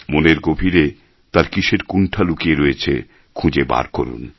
মনের গভীরে তার কিসের কুণ্ঠা লুকিয়ে রয়েছে খুঁজে বার করুন